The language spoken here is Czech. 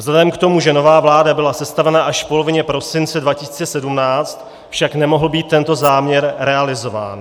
Vzhledem k tomu, že nová vláda byla sestavena až v polovině prosince 2017, však nemohl být tento záměr realizován.